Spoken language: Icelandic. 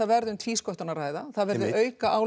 verði um tvísköttun að ræða það verði